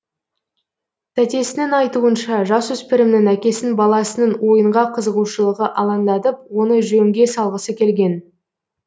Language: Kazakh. тәтесінің айтуынша жасөспірімнің әкесін баласының ойынға қызығушылығы алаңдатып оны жөнге салғысы келген